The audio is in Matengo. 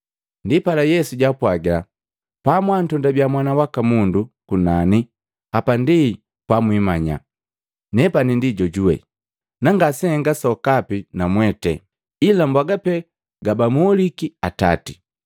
Ndipala Yesu jaapwagila, “Pamwantondabia Mwana waka Mundu kunani, hapa ndi pamwimanya, ‘Nepani ndi Jojuwe.’ Na ngasehennga sokapi namwete, ila mbwaga pe gabamoliki Atati.